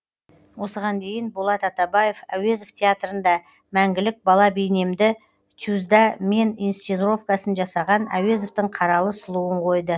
осыған дейін болат атабаев әуезов театрында мәңгілік бала бейнемді тюз да мен инсценировкасын жасаған әуезовтің қаралы сұлуын қойды